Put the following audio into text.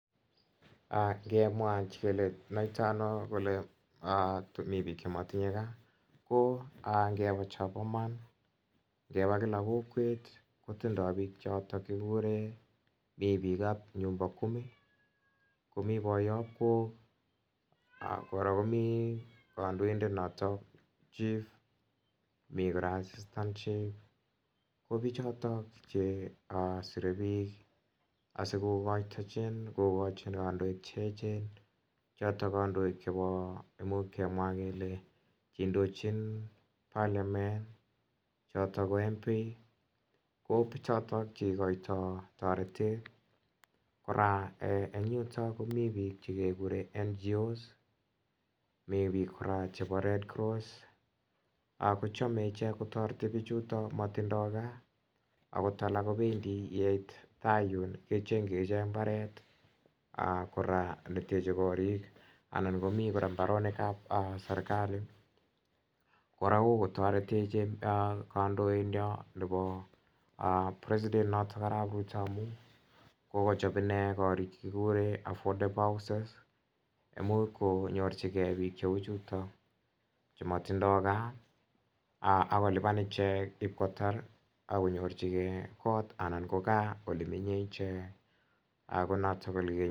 Ingemwa kele kinoito ano kele mi bik Che motinye gaa ko ngebe chobo Iman ngeba kila kokwet kotindoi bikap nyumba kumi komi boyob kok kora komii kandoindet noton chief ak komiten assistant chief ko bichoton Che sire bik asi kogochin kandoik, amun Ingemwa kele Che indochin parli choton ko Mp ko choton Che igoitoi toretet kora komiten bik Che keguren NGO's mi bik kora chebo red cross kochome icheget kotoret bichuto motindoi gaa akot alak kobendi yeit gaa Yun kecjengyi ichek mbaret ne teche korik anan komi kora mbarenik ab serkali kora ko ko kotoretech kandoindet nenyon president noton Arap Ruto amun kokochob inendet korik Che kiguren affordable houses ak konyorchigei bik cheu Che matindoi gaa ak kolipan ichek Ib kotar ak konyorchigei kot anan ko gaa Ole menyei ichek ko noton ko ole kinyorundoi